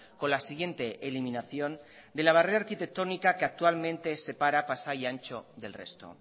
con la siguiente eliminación de la barrera arquitectónica que actualmente separa pasai antxo del resto